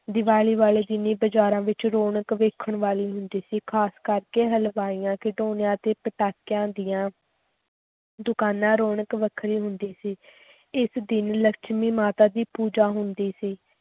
ਦੀਵਾਲੀ ਵਾਲੇ ਦਿਨ ਹੀ ਬਾਜ਼ਾਰਾਂ ਵਿੱਚ ਰੌਣਕ ਵੇਖਣ ਵਾਲੀ ਹੁੰਦੀ ਸੀ, ਖ਼ਾਸ ਕਰਕੇ ਹਲਵਾਈਆਂ, ਖਿਡੌਣਿਆਂ ਅਤੇ ਪਟਾਕਿਆਂ ਦੀਆਂ ਦੁਕਾਨਾਂ ਰੌਣਕ ਵੱਖਰੀ ਹੁੰਦੀ ਸੀ ਇਸ ਦਿਨ ਲਛਮੀ ਮਾਤਾ ਦੀ ਪੂਜਾ ਹੁੰਦੀ ਸੀ।